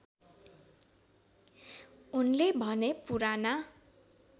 उनले भने पुराना